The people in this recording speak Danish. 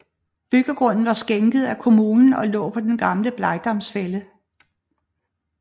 Byggegrunden var skænket af kommunen og lå på den gamle Blegdams Fælled